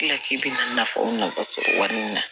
Tila k'i bɛna nafaw nafa sɔrɔ wari in na